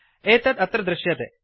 एतत् अत्र दृश्यते